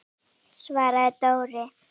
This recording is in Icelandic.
svaraði Dóri.